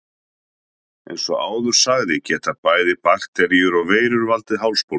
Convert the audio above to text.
Eins og áður sagði geta bæði bakteríur og veirur valdið hálsbólgu.